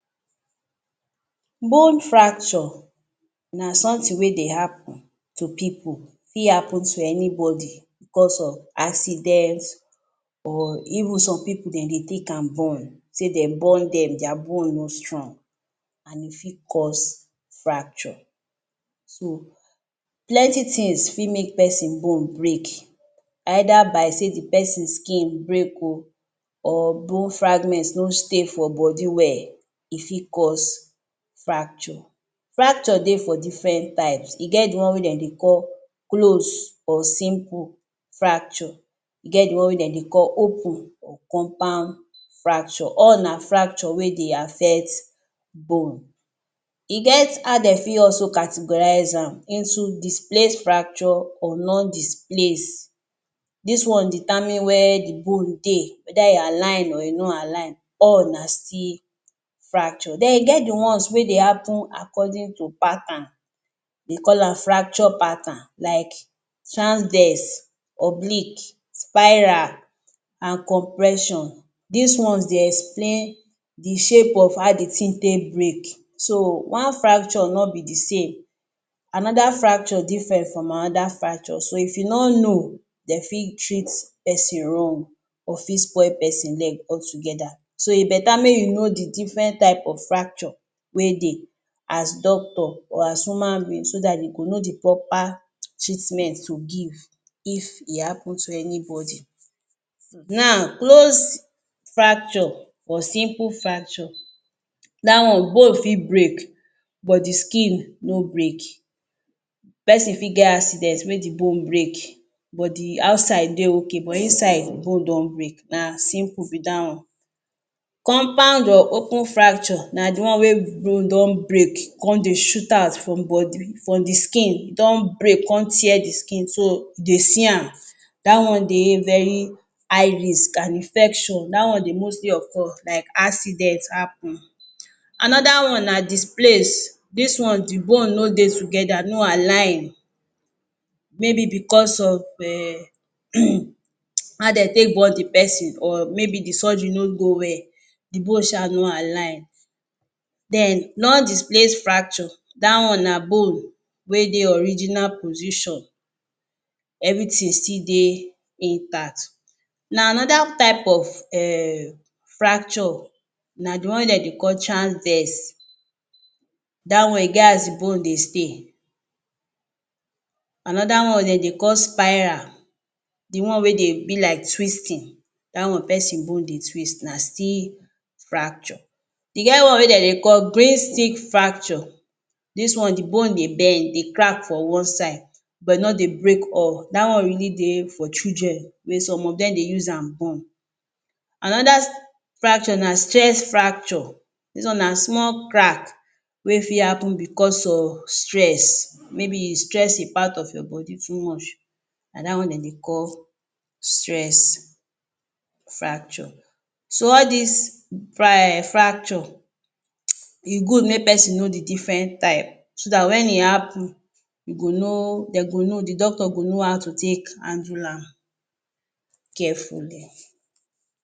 Bone fracture na something wey dey happen to pipu, fi happen to anybody because of accidents or even some pipu den dey take am born, say den born them their bone no strong and e fi cause fracture. So plenty things fi make pesin bone break, either by say the pesin skin break o, or bone fragments no stay for bodi well, e fi cause fracture. Fracture dey for different types, e get the one wey den dey call close or simple fracture, e get the one wey den dey call open or compound fracture, all na fracture wey dey affect bone. E get how dey fi also categorize am into displaced fracture or non-displace, dis one determine where the bone dey, whether e align or e no align, all na still fracture. Then e get the ones wey dey happen accord to pattern, dey call am fracture pattern like transdense, oblique, spiral and compression, these ones dey explain the shape of how the thing take break, so one fracture no be thesame, another fracture different from another fracture, so if you no know, den fit treat pesin wrong or fi spoil pesin leg altogether. So e better make you know the different type of fracture wey dey as doctor or as human being so that they go know the proper treatment to give if e happen to anybody. Now close fracture or simple fracture, that one bone fi break but the skin no break, pesin fi get accident wey the bone break but the outside dey okay but inside bone don break na simple be da one. Compound or open fracture na the one wey bone don break con dey shoot out from bodi from the skin e don break con tear the skin so dey see am, that one dey very high risk and infection, da one dey mostly occur like accident happen. Anoda one na displaced, this one the bone no dey together, no align maybe because um of how den take born the pesin or maybe the surgery no go well, the bone sha no align. Then non-displace fracture, da one na bone wey dey original position, everything still dey intact. Now another type of um fracture, na the one wey den dey call transdense, da one e get as bone dey stay. Another one den dey call spiral, the one wey dey be like twisting, da one pesin bone dey twist na still fracture. E get one wey den dey call green stick fracture, this one the bone dey bend, dey crack for one side but no dey break all, da one really dey for children wey some of them dey use am born. Another fracture na stress fracture, this one na small crack wey fi happen because of stress, maybe you stress e part of your body too much, na da one den dey call stress fracture. So all these fracture e good make pesin know the different type so that when e happen, you go know, dem go know, the doctor go know how to take handle am carefully